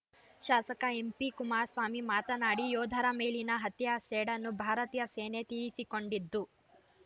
ಶಾಸಕ ಎಂಪಿ ಕುಮಾರಸ್ವಾಮಿ ಮಾತನಾಡಿ ಯೋಧರ ಮೇಲಿನ ಹತ್ಯೆಯ ಸೇಡನ್ನು ಭಾರತೀಯ ಸೇನೆ ತೀರಿಸಿಕೊಂಡಿದ್ದು